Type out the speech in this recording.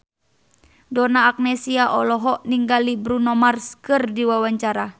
Donna Agnesia olohok ningali Bruno Mars keur diwawancara